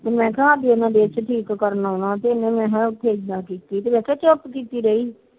ਮੈ ਖਾ ਇਹਨੇ ਮੇਰੇ ਨਾਲ